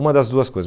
Uma das duas coisas.